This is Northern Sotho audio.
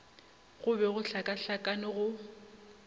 go be go hlakahlakane go